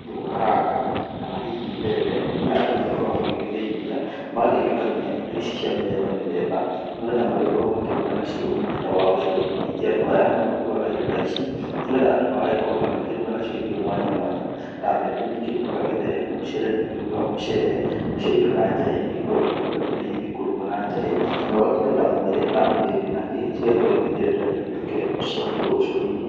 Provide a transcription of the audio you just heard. njũgũ karanga kana hihi mbembe iria andũ makoragwo magĩgithĩithia magagĩtukania indo ici cia mĩthemba mĩthemba, nĩ getha magĩkorwo makĩruga nacio mũtu ta wa ũcũrũ. Ningĩ andũ aya no makĩgũraga indo ta ici nĩ getha ati magagĩkorwo makĩruga nacio irio mwanya mwanya. Ta mbembe nĩ ikĩrugaga gĩthere, mũcere nĩ ũkĩrugaga mũcere, nacio indo ta njahĩ nĩ igĩkoragwo ikĩruga indo iria ingĩkĩrugwo na njahi. No ido ta mwere na mũgĩmbĩ na kĩ cigagĩkorwo igĩgĩthĩo nĩ getha igĩtuĩke cia gwĩkĩrwo ũcũrũ-inĩ.